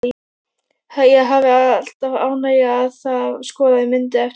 Ég hefi alltaf ánægju af að skoða myndir eftir þá.